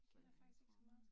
Så jeg er kommet